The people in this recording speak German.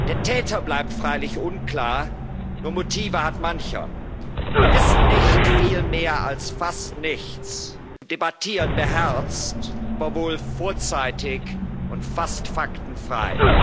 Der Täter bleibt freilich unklar, nur Motive hat Mancher. Wir wissen nicht viel mehr als fast nichts, und debattieren beherzt, aber wohl vorzeitig und fast faktenfrei.